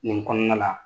Nin kɔnɔna la